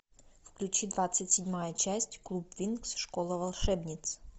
включи двадцать седьмая часть клуб винкс школа волшебниц